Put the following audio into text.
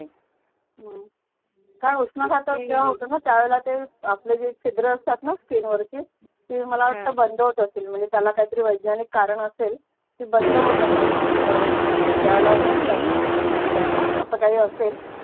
का उष्णघातक किती जेव्हा होतो णा त्या वेळेला ते आपले जे सिदर असतातणा स्कीन वरचे ते हम्म मला वाटत बंद होत असेल म्हणजे त्याला काही तरी वैज्ञानिक कारण असेल की बंद होत असावी ज्या वेळेला उन जातो आतमध्ये अस काही असेल